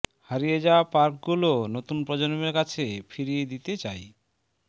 হারিয়ে যাওয়া পার্কগুলো নতুন প্রজন্মের কাছে ফিরিয়ে দিতে চাই